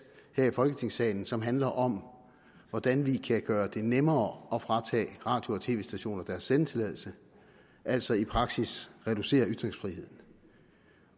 her i folketingssalen som handler om hvordan vi kan gøre det nemmere at fratage radio og tv stationer deres sendetilladelse altså i praksis reducere ytringsfriheden